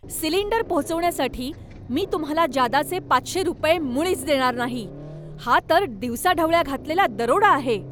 Cylinder पोचवण्यासाठी मी तुम्हाला जादाचे पाचशे रुपये मुळीच देणार नाही. हा तर दिवसाढवळ्या घातलेला दरोडा आहे!